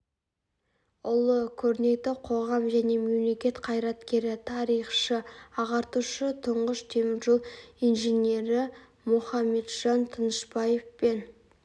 ұлы көрнекті қоғам және мемлекет қайраткері тарихшы ағартушы тұңғыш темір жол инженері мұхаметжан тынышбаев пен